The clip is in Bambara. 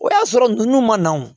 O y'a sɔrɔ n'u ma na wo